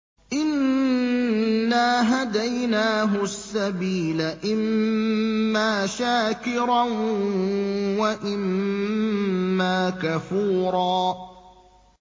إِنَّا هَدَيْنَاهُ السَّبِيلَ إِمَّا شَاكِرًا وَإِمَّا كَفُورًا